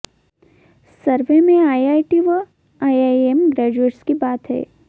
सर्वे में आईआईटी व IIM graduates की बात हैै